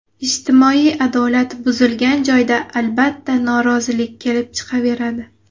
Ijtimoiy adolat buzilgan joyda, albatta, norozilik kelib chiqaveradi.